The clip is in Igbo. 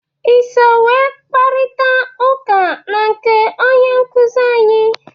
I so wee kparịta ụka na nke onye nkụzị anyị?